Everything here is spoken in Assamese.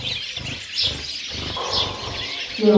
কিয়